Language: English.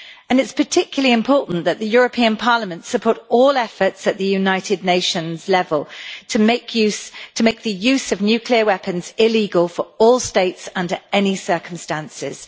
It is particularly important that the European Parliament supports all efforts at the United Nations level to make the use of nuclear weapons illegal for all states under any circumstances.